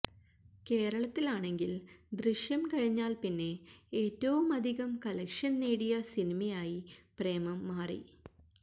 കേരളത്തിലാണെങ്കില് ദൃശ്യം കഴിഞ്ഞാല് പിന്നെ ഏറ്റവുമധികം കളക്ഷന് നേടിയ സിനിമയായി പ്രേമം മാറി